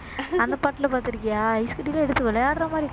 அந்த பாட்டுல பார்த்திருக்கியா ஐஸ் கட்டிலாம் எடுத்து விளையாடுற மாதிரி